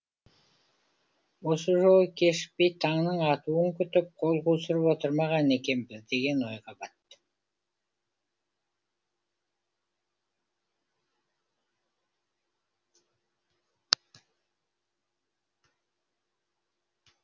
осы жолы кешікпей таңның атуын күтіп қол қусырып отырмаған екенбіз деген ойға баттым